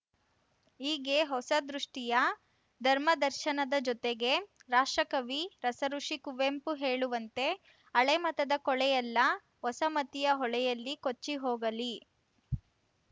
ಹೀಗೆ ಹೊಸ ದೃಷ್ಟಿಯ ಧರ್ಮದರ್ಶನದ ಜೊತೆಗೆ ರಾಷ್ಟ್ರಕವಿ ರಸಋುಷಿ ಕುವೆಂಪು ಹೇಳುವಂತೆ ಹಳೆಮತದ ಕೊಳೆಯೆಲ್ಲ ಹೊಸ ಮತೀಯ ಹೊಳೆಯಲ್ಲಿ ಕೊಚ್ಚಿ ಹೋಗಲಿ